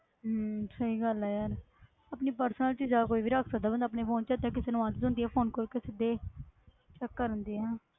ਹਮ ਸਹੀ ਗੱਲ ਹੈ ਯਾਰ ਆਪਣੀ personal ਚੀਜ਼ਾਂ ਕੋਈ ਵੀ ਰੱਖ ਸਕਦਾ ਬੰਦਾ ਆਪਣੇ phone 'ਚ ਤੇ ਕਿਸੇ ਨੂੰ ਆਦਤ ਹੁੰਦੀ ਹੈ phone ਕੋਈ ਕਿਸੇ ਦੇ check ਕਰਨ ਦੀ ਹੈਂ